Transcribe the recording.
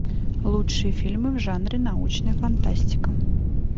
лучшие фильмы в жанре научная фантастика